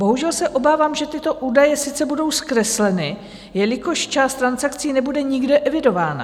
Bohužel se obávám, že tyto údaje sice budou zkresleny, jelikož část transakcí nebude nikde evidována.